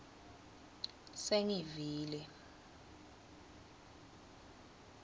sengivile